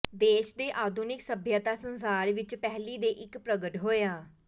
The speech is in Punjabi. ਦੇਸ਼ ਦੇ ਆਧੁਨਿਕ ਸਭਿਅਤਾ ਸੰਸਾਰ ਵਿੱਚ ਪਹਿਲੀ ਦੇ ਇੱਕ ਪ੍ਰਗਟ ਹੋਇਆ